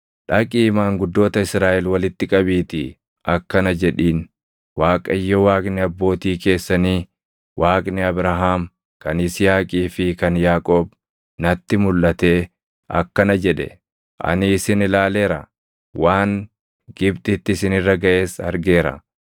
“Dhaqii maanguddoota Israaʼel walitti qabiitii akkana jedhiin; ‘ Waaqayyo Waaqni abbootii keessanii, Waaqni Abrahaam, kan Yisihaaqii fi kan Yaaqoob natti mulʼatee akkana jedhe: “Ani isin ilaaleera; waan Gibxitti isin irra gaʼes argeera.